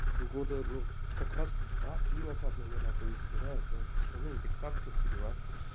года ну как раз два три назад наверно то есть бля но все равно индексация все дела